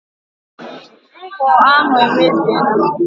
Ngwọ ahụ emebiela.